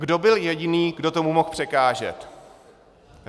Kdo byl jediný, kdo tomu mohl překážet?